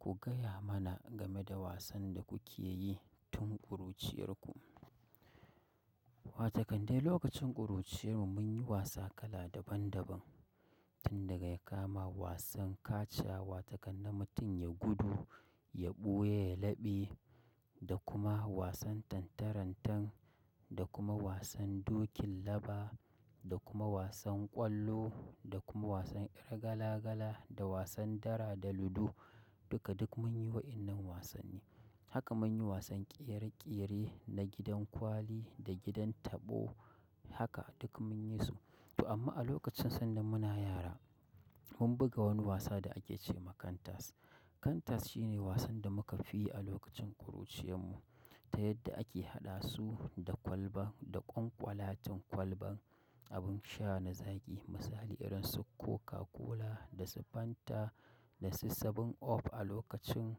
Ku gaya mana game da wasan da kuke yi tun ƙuruciyarku. Wataƙan dai lokacin ƙuruciyar mu mun yi wasa kala daban daban. Tun daga ya kama wasan kachawa ga an na mutum ya gudu, ya ɓuya, ya laɓe da kuma wasan tantarantan da kuma wasan dokin laba da kuma wasan ƙwallo da kuma wasan ƴar gala gala da wasan dara da ludo duka duk mun yi waɗannan wasanni. Haka mun yi wasan ƙere ƙere na gidan kwali da gidan taɓo haka duk mun yi su. To amma a lokacin sanda muna yara mun buga wani wasa da ake ce ma kantas. Kantas shine wasan da muka fi yi a lokacin ƙuruciyar mu ta yadda ake haɗa su da kwalba, da ƙwan ƙwalatin kealban, abin sha na zaƙi misali irin su Coca-Cola da su Fanta da su 7up a lokacin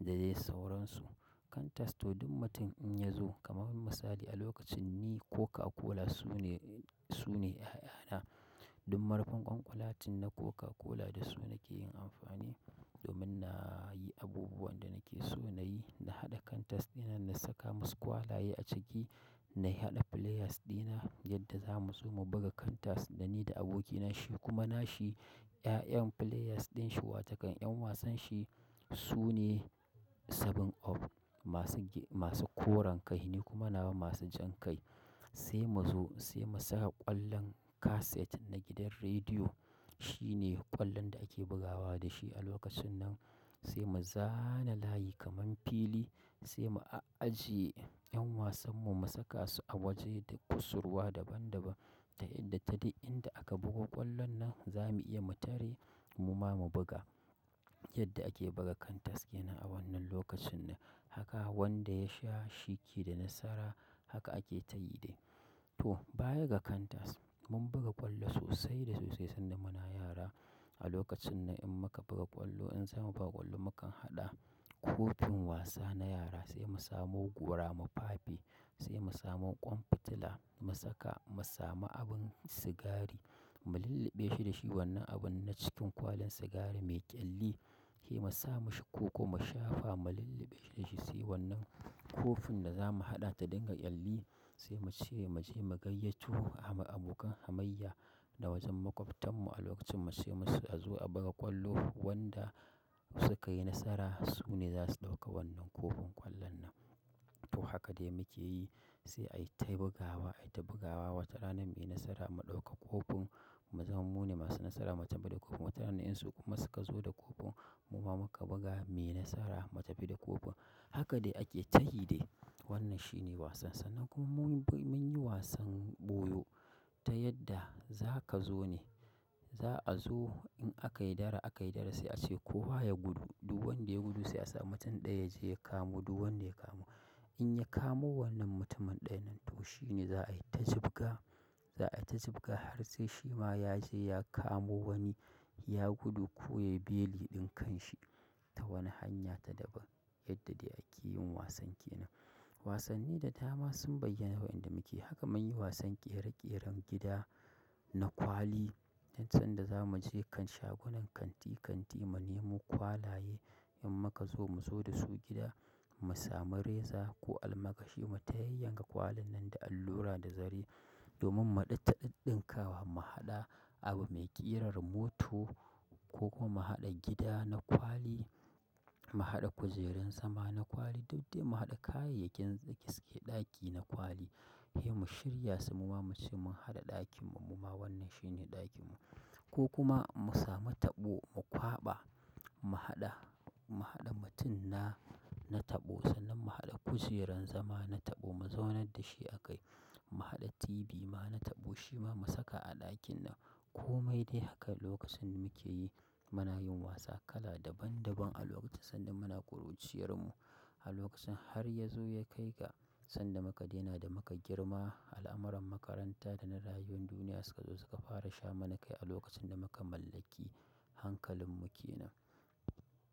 da dai sauransu. Kantas to duk mutum in ya zo kamar misali a lokacin ni Coca-Cola su ne, su ne ya'yana. Duk marufin ƙwan ƙwalatin na Coca-Cola da su nake yin amfani domin na yi abubuwan da nake so na yi, na haɗa kantas dinan na saka masu kwalaye a ciki, na haɗa players dina yadda za mu zo mu buga kantas da ni da abokina shi kuma nashi 'ya'yan players din shi watakan 'yan wasan shi su ne 7up masu k-, masu koren kai ne kuma nawa masu jan kai. Sai mu zo sai mu saka ƙwallon kaset na gidan rediyo. Shi ne ƙwallon da ake bugawa da shi a lokacin nan. Sai mu zana layi kamar fili sai mu ajiye 'yan wasan mu mu saka su a waje da kusurwa daban daban ta yadda ta inda aka buga ƙwallon nan za mu iya mu tare mu ma mu buga. Yadda ake buga kantas kenan a wannan lokacin nan. Haka wanda ya sha shiki da nasara haka ake tayi dai. To baya ga cantas mun buga ƙwallo sosai da sosai sanda muna yara. A lokacin nan in muka buga ƙwallo in za mu buga ƙwallo mukan haɗa kofin wasa na yara sai mu samo gora, mu fafie sai mu samo ƙwan fitila mu saka, mu sami abin sigari mu lillɓe shi da shi wannan abun na cikin kwalin sigari mai ƙyalli. Sai mu sa mashi koko mu shafa mu lillɓe da shi sai wannan kofin da za mu haɗa ta dinga ƙyalli sai mu ce mu je mu gayyato abokan hamayya na wajen makwabtan mu a lokacin mu ce musu a zo a buga ƙwallo wanda suka yi nasara su ne za su ɗauka wannan kofin ƙwallon nan. To haka dai muke yi sai a yi ta bugawa, a yi ta bugawa wata rana me nasara ma ɗauka kofin mu zamo mu ne masu nasara mu tafi da kofin. Wata rana in su kuma suka zo da kofin mu ma muka buga muyi nasara mu tafi da kofin. Haka dai ake tayi dai. Wannan shi ne wasan sa. Nan kuma mun, mun yi wasan ɓoyo ta yadda za ka zo ne. Za a zo in aka yi dara aka yi dara sai a ce ko wa ya gudu. Duk wanda ya gudu sai a sa mutum ɗaya ya je ya kamo duk wanda ya kama. In ya kamo wannan mutumin ɗayan nan to shi ne za a yi ta jubga, za a yi ta jubga har sai shi ma ya je ya kamo wani ya gudu ko yayi beli ɗin kan shi ta wani hanya ta daban yadda dai ake yin wasan kenan. Wasanni da dama sun bayyana waɗanda muke, haka mun yi wasan ƙere-ƙeren gida na kwali yanzu sanda za mu je kan shagunan kanti kanti mu nemo kwalaye in muka zo mu zo da su gida mu samu reza ko alma kashi mui ta yayyan ka kwalin nan da allura da zare domin mu ɗin taɗin ɗinkawa mu haɗa abu mai ƙirar mota ko kuma mu haɗa gida na kwali, mu haɗa kujerun sama na kwali duk dai mu haɗa kayayyakin gaske ɗaki na kwali. Sai mu shirya su mu ma mu ce mun haɗa ɗakin mu mu ma wannan shi ne ɗakin mu ko kuma mu sami taɓo mu kwaɓa mu haɗa, mu haɗa mutum na, na taɓo sannan mu haɗa kujerun zama na taɓo mu zaunar da shi a kai. Mu haɗa TV ma na taɓo shi ma mu saka a ɗakin nan. Komai dai haka lokacin muke yi muna yin wasa kala daban daban a lokacin sanda muna ƙuruciyarmu. A lokacin har ya zo ya kai ga sanda muka daina da muka girma al'amuran makaranta da na rayuwar duniya suka zo suka fara sha mana kai a lokacin da muka mallaki hankalin mu kenan.